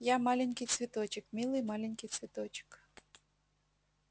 я маленький цветочек милый маленький цветочек